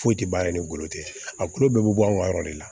Foyi tɛ ban ale ni golo tɛ a kulo bɛɛ bɛ bɔ anw ka yɔrɔ de la